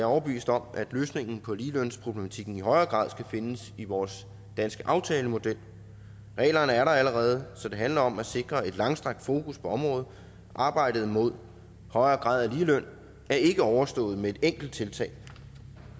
overbevist om at løsningen på ligelønsproblematikken i højere grad skal findes i vores danske aftalemodel reglerne er der allerede så det handler om at sikre et langstrakt fokus på området arbejdet mod højere grad af ligeløn er ikke overstået med et enkelt tiltag